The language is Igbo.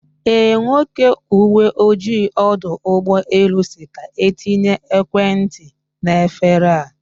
Eh, Nwoke uwe ojii ọdọ ụgbọ elu si ka etinye ekwentị n'efere a